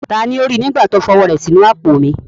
Taani ó rí i, nígbà tí ó fi ọwọ́ rẹ̀ sí inú àpò mi?